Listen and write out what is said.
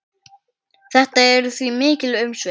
Þetta eru því mikil umsvif.